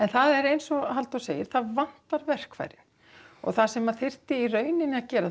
það er eins og Halldór segir það vantar verkfæri það sem að þyrfti í rauninni að gera